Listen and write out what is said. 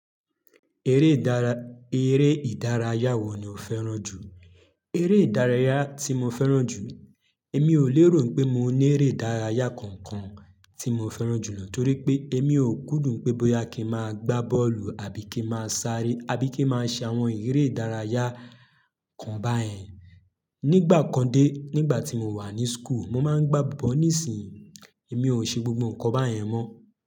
Eré ìdárayá wo ni o fẹ́ràn jù? Eré ìdárayá tí mo fẹ́ràn jù, èmi ò lérò pé mo ní eré ìdárayá kankan tí mo fẹ́ràn jù lọ torí pé èmi ò kúndùn pé bóyá kí n máa gbá bọ́ọ̀lù àbí kí n máa sáré àbí kí n máa ṣe àwọn eré ìdárayá kan bayen. Nígbà kan dé nígbà tí mo wà ní school, mo máa ń gbá but nísìnyìí, èmi ò ṣe gbogbo nǹkan báyẹn mọ́.